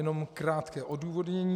Jenom krátké odůvodnění.